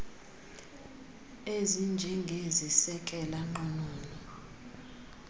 ezinjengezi sekela nqununu